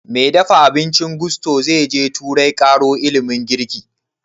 Mai dafa abincin gusto zai je turai ƙaro ilimin girki?